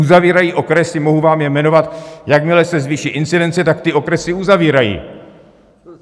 Uzavírají okresy, mohu vám je jmenovat, jakmile se zvýší incidence, tak ty okresy uzavírají.